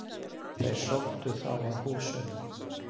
Þeir sóttu þá að húsunum.